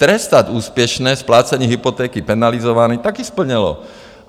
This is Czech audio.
Trestat úspěšné splácení hypotéky penalizováním - taky splněno.